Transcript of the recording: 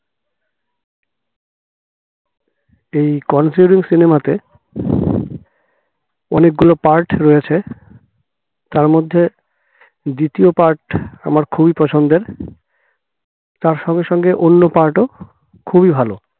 এই conjuring cinema তে অনেক গুলো part রয়েছে তার মধ্যে দ্বিতীয় part আমার খুবই পছন্দের তার সঙ্গে সঙ্গে অন্য part খুবই ভালো